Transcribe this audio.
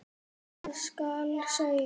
Hvað skal segja?